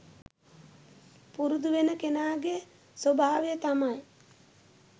පුරුදු වෙන කෙනාගේ ස්වභාවය තමයි